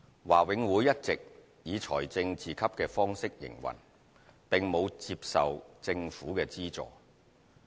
華永會一直以財政自給的方式營運，並無接受政府資助。